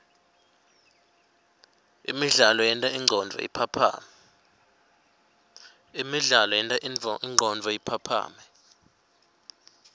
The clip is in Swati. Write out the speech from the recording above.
imidlalo yenta ingcondvo iphaphame